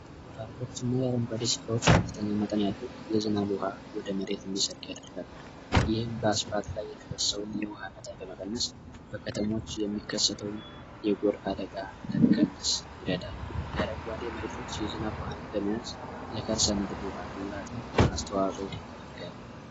በከተሞች የሚከሰተዉን የጎርፍ አደጋ ለመቀነስ ይረዳል። አስተዋጽኦ ያደርጋል።